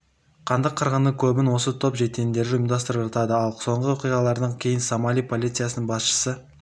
қанды қырғынның көбін осы топ жендеттері ұйымдастырып жатады ал соңғы оқиғалардан кейін сомали полициясының басшысы